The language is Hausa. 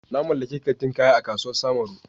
Na mallaki kantin kaya a kasuwar samaru.